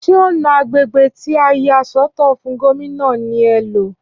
Ṣé ọ̀na agbègbè tí a yà sọ́tọ̀ fún Gómìnà ní è ńlọ